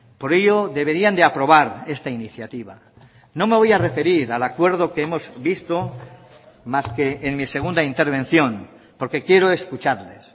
por ello deberían de aprobar esta iniciativa no me voy a referir al acuerdo que hemos visto más que en mi segunda intervención porque quiero escucharles